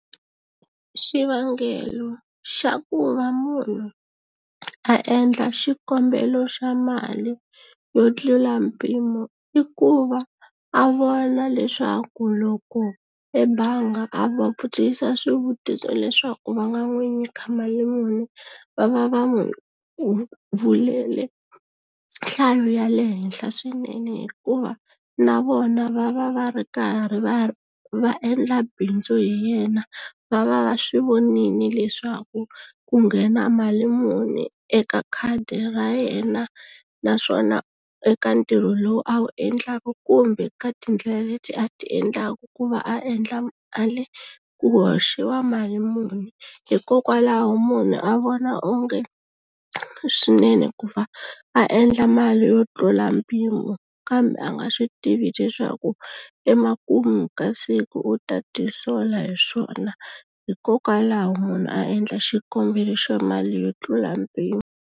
Xivangelo xa ku va munhu a endla xikombelo xa mali yo tlula mpimo i ku va a vona leswaku loko ebangi a va vutisa swivutiso leswaku va nga n'wi nyika mali muni va va va n'wi vulele nhlayo ya le henhla swinene hikuva na vona va va va ri karhi va va endla bindzu hi yena va va va swi vonile leswaku ku nghena mali muni eka khadi ra yena naswona eka ntirho lowu a wu endlaka kumbe ka tindlela leti a ti endlaka ku va a endla mali ku hoxiwa mali muni hikokwalaho munhu a vona onge swinene ku va a endla mali yo tlula mpimo kambe a nga swi tivi leswaku emakumu ka siku u ta tisola hi swona hikokwalaho munhu a endla xikombelo xa mali yo tlula mpimo.